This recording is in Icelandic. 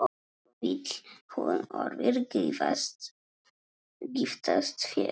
Vill hún orðið giftast þér?